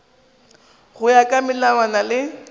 go ya ka melawana le